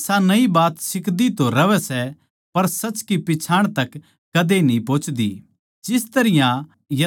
अर वे हमेशा नई बात सिखदी तो रहवैं सै पर सच की पिच्छाण तक कद्दे न्ही पोहोचदी